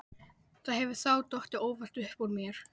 Það hefur þá dottið óvart upp úr mér.